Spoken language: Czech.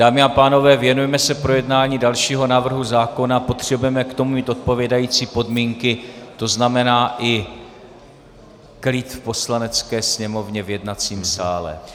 Dámy a pánové, věnujme se projednání dalšího návrhu zákona, potřebujeme k tomu mít odpovídající podmínky, to znamená i klid v Poslanecké sněmovně, v jednacím sále.